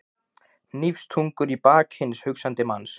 Hnífstungur í bak hins hugsandi manns.